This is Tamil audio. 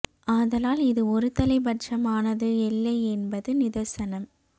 ஆதலால் இது ஒரு தலை பட்ச மானது இல்லை என்பது நிதர்சனம்